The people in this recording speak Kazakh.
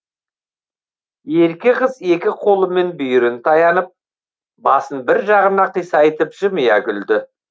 ерке қыз екі қолымен бүйірін таянып басын бір жағына қисайтып жымия күлді